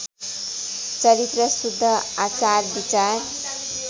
चरित्र शुद्ध आचारविचार